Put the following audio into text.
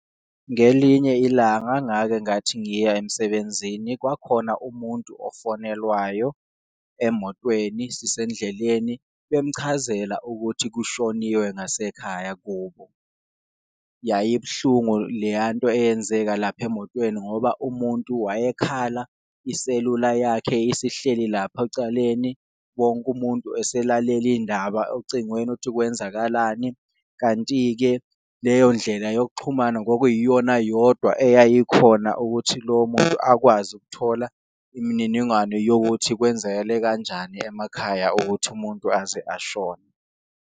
Ngelinye ilanga ngake ngathi ngiya emsebenzini kwakhona umuntu ofonelwayo emotweni sisendleleni bemchazela ukuthi kushoniwe ngasekhaya kubo. Yayibuhlungu leya nto eyenzeka lapha emotweni, ngoba umuntu wayekhala iselula yakhe isihleli lapha ecaleni wonke umuntu eselalele indaba ocingweni ukuthi kwenzakalani. Kanti-ke leyo ndlela yokuxhumana kwakuyiyona yodwa eyayikhona ukuthi lowo muntu akwazi ukuthola imininingwane, yokuthi kwenzekele kanjani emakhaya ukuthi umuntu aze ashone.